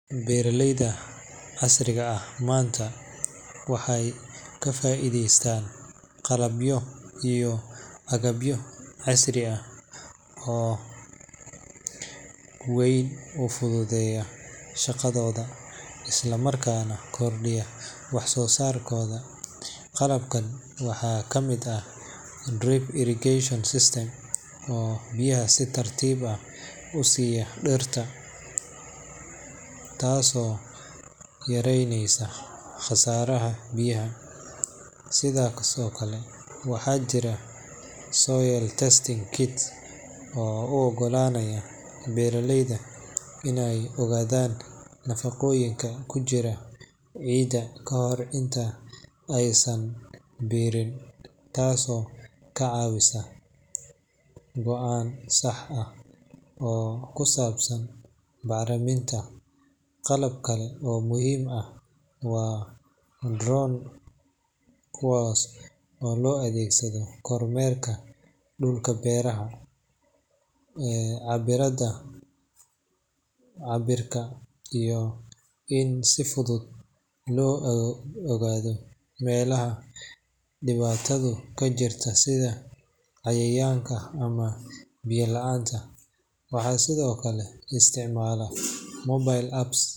Beeraleyda casriga ah maanta waxay ka faa’iideystaan qalabyo iyo agabyo casri ah oo si weyn u fududeeya shaqadooda, islamarkaana kordhiya wax soo saarkooda. Qalabkan waxaa ka mid ah drip irrigation systems oo biyaha si tartiib ah u siiya dhirta, taasoo yaraynaysa khasaaraha biyaha. Sidoo kale waxaa jira soil testing kits oo u oggolaanaya beeraleyda in ay ogaadaan nafaqooyinka ku jira ciidda ka hor inta aysan beerin, taasoo ka caawisa go'aan sax ah oo ku saabsan bacriminta. Qalab kale oo muhiim ah waa drones kuwaas oo loo adeegsado kormeerka dhulka beeraha, cabbiraadda cabbirka, iyo in si fudud loo ogaado meelaha dhibaatadu ka jirto sida cayayaanka ama biyo la’aanta. Waxaa sidoo kale la isticmaalaa mobile apps.